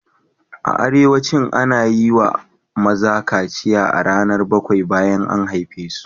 A arewacin, ana yi wa maza kaciya a ranar bakwai bayan an haife su.